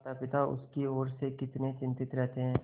मातापिता उसकी ओर से कितने चिंतित रहते हैं